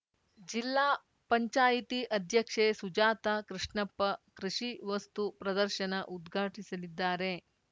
ಜಿಲ್ಲಾ ಪಂಚಾಯ್ತಿ ಅಧ್ಯಕ್ಷೆ ಸುಜಾತ ಕೃಷ್ಣಪ್ಪ ಕೃಷಿ ವಸ್ತು ಪ್ರದರ್ಶನ ಉದ್ಘಾಟಿಸಲಿದ್ದಾರೆ